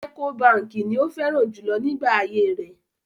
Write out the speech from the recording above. Ẹ́kó baǹkì ni ó fẹ́ràn jùlọ nígbà ayé rẹ̀.